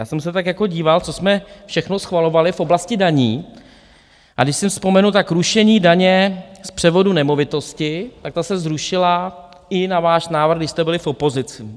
Já jsem se tak jako díval, co jsme všechno schvalovali v oblasti daní, a když si vzpomenu, tak rušení daně z převodu nemovitosti, tak ta se zrušila i na váš návrh, když jste byli v opozici.